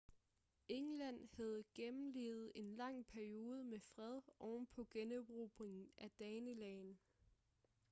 england havde gennemlevet en lang periode med fred ovenpå generobringen af danelagen